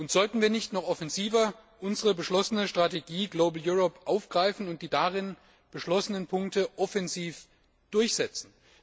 Sollten wir nicht noch offensiver unsere beschlossene Strategie Global Europe aufgreifen und die darin beschlossenen Punkte offensiv durchsetzen?